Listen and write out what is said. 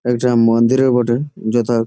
একটা মন্দিরে বটে যথা ।